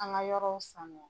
An ka yɔrɔw sanuya.